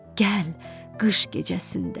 Gəl qış gecəsində.